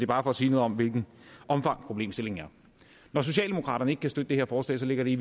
bare for at sige noget om hvilket omfang problemstillingen har når socialdemokraterne ikke kan støtte det her forslag ligger det